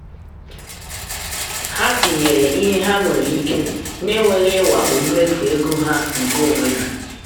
ha tinyere ihe ha nwere ike na-enweghị ịwakpo mmefu ego ha nke onwe ha.